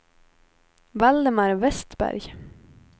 Valdemar Westberg